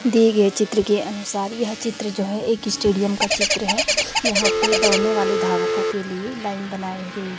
दिए गए चित्र के अनुसार यह चित्र जो है एक स्टेडियम का चित्र है जहां पे दौड़ने वाले धावकों के लिए लाइन बनाई हुई--